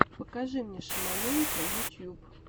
покажи мне шаманенка ютюб